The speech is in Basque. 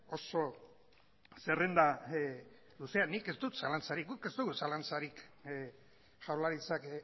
oso zerrenda luzea nik ez dut zalantzarik guk ez dugu zalantzarik jaurlaritzak